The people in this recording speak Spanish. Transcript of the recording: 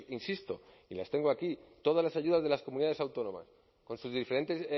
insisto y las tengo aquí todas las ayudas de las comunidades autónomas con sus diferentes